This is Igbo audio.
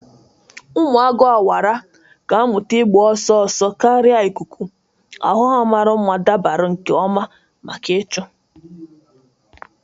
Ụmụ agu awara ga-amụta ịgba ọsọ ọsọ karịa ikuku, ahụ ha mara mma dabara nke ọma maka ịchụ.